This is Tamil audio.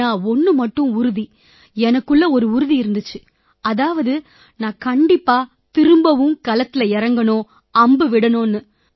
ஆனா ஒண்ணு மட்டும் உறுதி எனக்குள்ள ஒரு உறுதி இருந்திச்சு அதாவது நான் கண்டிப்பா திரும்பவும் களத்தில இறங்கணும்னு அம்பு விடணும்னு